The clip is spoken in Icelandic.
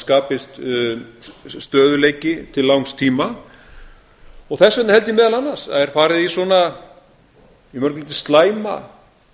skapist stöðugleiki til langs tíma þess vegna held ég meðal annars að er farið í svona að mörgu leyti slæma